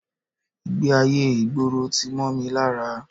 Ìgbé-ayé ìgboro tí mọ́ mi lára